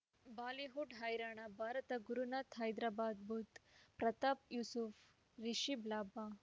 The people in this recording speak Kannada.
ಬಾಲಿವುಡ್ ಹೈರಾಣ ಭಾರತ ಗುರುನಾಥ ಹೈದರಾಬಾದ್ ಬುಧ್ ಪ್ರತಾಪ್ ಯೂಸುಫ್ ರಿಷಬ್ ಲಾಭ